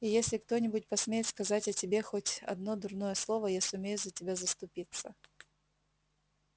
и если кто-нибудь посмеет сказать о тебе хоть одно дурное слово я сумею за тебя заступиться